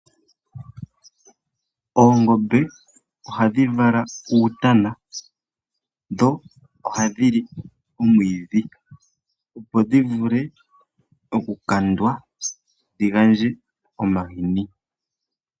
Oongombe ohadhi vala uutana dho ohadhi li omwiidhi opo dhivule okukandwa dhi gandje omahini.